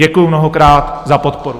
Děkuji mnohokrát za podporu.